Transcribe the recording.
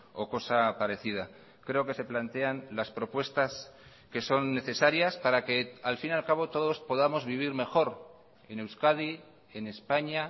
o cosa parecida creo que se plantean las propuestas que son necesarias para que al fin y al cabo todos podamos vivir mejor en euskadi en españa